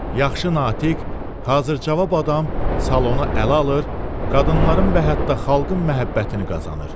Yaxşı natiq, hazır cavab adam salonu ələ alır, qadınların və hətta xalqın məhəbbətini qazanır.